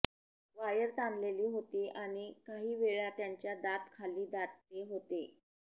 wire ताणलेली होती आणि काही वेळा त्याच्या दात खाली दाते होते